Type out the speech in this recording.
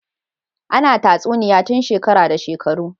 Ana tatsuniya tun shekara da shekaru